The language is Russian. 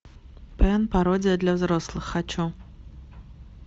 пэн пародия для взрослых хочу